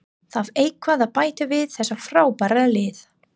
Þarf eitthvað að bæta við þetta frábæra lið?